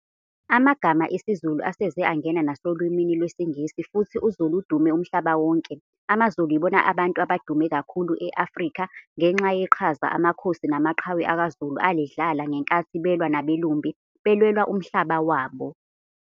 Amagama esiZulu aseze angena nasolwini lwesingisi futhi uZulu udume umhlaba wonke. AmaZulu yibona abantu abadume kakhulu eAfrika ngenxa yeqhaza amakhosi namaqhawe akwaZulu alidlala ngenkathi belwa nabelumbi belwela umhlaba wabo.